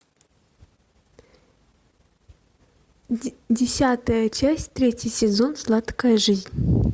десятая часть третий сезон сладкая жизнь